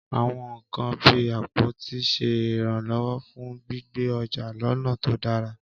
Àwọn nkan bíi àpótí ń ṣe ìrànlọ́wọ́ fún gbígbé ọjà lọ́nà tó dára.